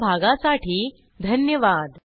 सहभागासाठी धन्यवाद